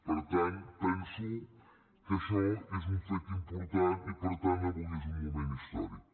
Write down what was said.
per tant penso que això és un fet important i per tant avui és un moment històric